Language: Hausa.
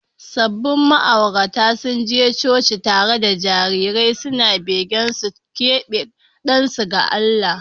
Sabbin ma’auratan sun je coci tare da jarirai suna begen su keɓe ɗansu ga Allah.